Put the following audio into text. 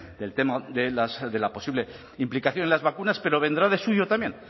del tema de la posible implicación en las vacunas pero vendrá del suyo también